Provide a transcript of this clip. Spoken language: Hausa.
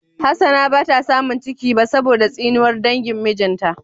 Hassana bata samun ciki ba saboda tsinuwar dangin mijinta.